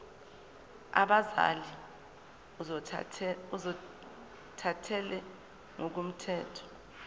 abazali ozothathele ngokomthetho